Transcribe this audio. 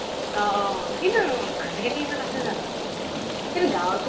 অ অ । কিন্তু আজিকালি ইমান আছে জানো ? কিন্তু গাওঁ ৰ পিনে